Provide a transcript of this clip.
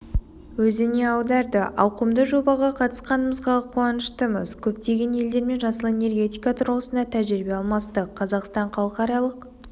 өзіне аударды ауқымды жобаға қатысқанымызға қуаныштымыз көптеген елдермен жасыл энергетика тұрғысында тәжірибе алмастық қазақстан халықаралық